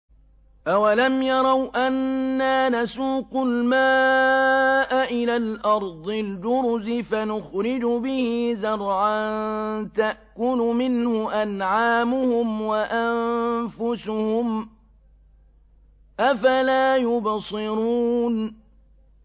أَوَلَمْ يَرَوْا أَنَّا نَسُوقُ الْمَاءَ إِلَى الْأَرْضِ الْجُرُزِ فَنُخْرِجُ بِهِ زَرْعًا تَأْكُلُ مِنْهُ أَنْعَامُهُمْ وَأَنفُسُهُمْ ۖ أَفَلَا يُبْصِرُونَ